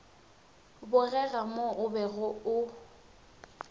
bogega mo o bego o